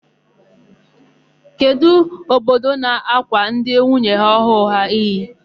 Kedụ ododo na-ákwà ndị nwunye ọhụụ ha iyi?